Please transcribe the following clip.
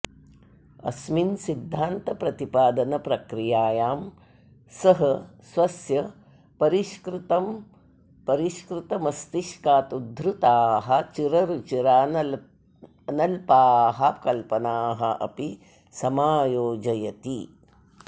अस्मिन् सिद्धान्तप्रतिपादनप्रक्रियायां सः स्वस्य परिष्कृतमस्तिष्कात् उद्भूताः चिररुचिरानल्पाः कल्पनाः अपि समायोजयति